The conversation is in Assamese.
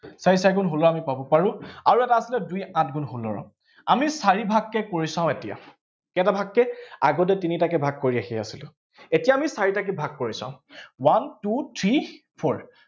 চাৰি চাৰি গুণ ষোল্ল আমি পাব পাৰো। আৰু এটা আছে নহয়, দুই আঠ গুণ ষোল্ল। আমি চাৰিভাগকে কৰি চাওঁ এতিয়া, কেইটা ভাগকে, আগতে তিনিটাকে ভাগ কৰি আহি আছিলো, এতিয়া আমি চাৰিটাকে ভাগ কৰি চাওঁ, one two three four